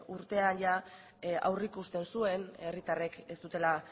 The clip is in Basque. urtean aurreikusten zuen herritarrek ez zutela